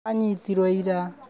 Aranyitirwo ira.